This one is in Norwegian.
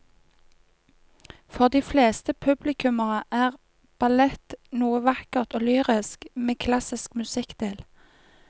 For de fleste publikummere er ballett noe vakkert og lyrisk med klassisk musikk til.